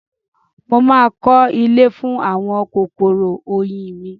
Mo máa kọ́lé fún àwọn kòkòrò oyin mi.